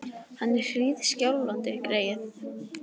Hann er hríðskjálfandi, greyið!